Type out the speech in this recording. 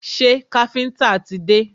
Ṣé káfíńńtà ti dé?